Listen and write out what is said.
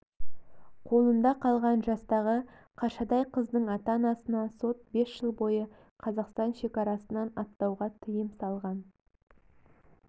қолында қалған жастағы қаршадай қыздың ата-анасына сот бес жыл бойы қазақстан шекарасынан аттауға тиым салған